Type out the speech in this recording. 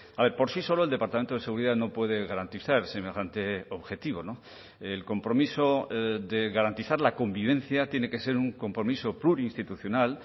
a ver por sí solo el departamento de seguridad no puede garantizar semejante objetivo el compromiso de garantizar la convivencia tiene que ser un compromiso plurinstitucional